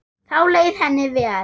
Þá leið henni vel.